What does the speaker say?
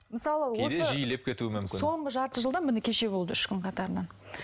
мысалы осы кейде жиілеп кетуі мүмкін соңғы жарты жылда міне кеше болды үш күн қатарынан